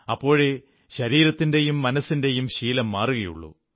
അപ്പോഴേ ശരീരത്തിന്റെയും മനസ്സിന്റെയും ശീലം മാറുകയുള്ളൂ